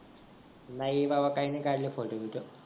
नाही भावा काही नाही काढले फोटो बिटो